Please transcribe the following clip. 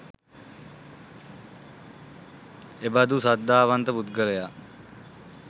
එබඳු ශ්‍රද්ධාවන්ත පුද්ගලයා